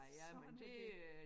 Sådan er det